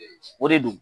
O de don